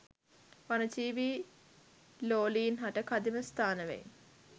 වනජීවී ලෝලීන් හට කදිම ස්ථාන වෙයි